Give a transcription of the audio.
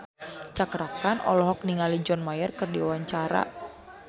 Cakra Khan olohok ningali John Mayer keur diwawancara